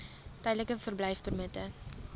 tydelike verblyfpermitte